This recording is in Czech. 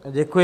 Děkuji.